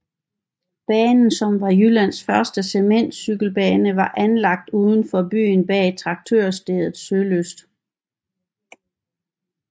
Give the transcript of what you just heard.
Banen som var en Jyllands første cementcykelbane var anlagt uden for byen bag traktørstedet Sølyst